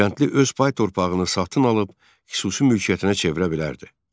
Kəndli öz pay torpağını satın alıb xüsusi mülkiyyətinə çevirə bilərdi.